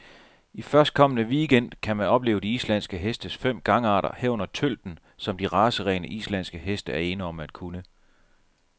I førstkommende weekend gang kan man opleve de islandske hestes fem gangarter, herunder tølten, som de racerene, islandske heste er ene om at kunne.